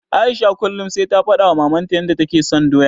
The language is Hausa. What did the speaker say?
Aisha kullum sai ta faɗawa Mamanta yanda take son doya.